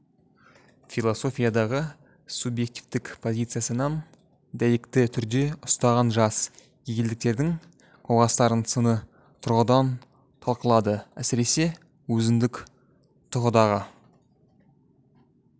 философиядағы субъективтік позициясынан дәйекті түрде ұстанған жас гегельдіктердің көзқарастарын сыни тұрғыдан талқылады әсіресе өзіндік тұлғадағы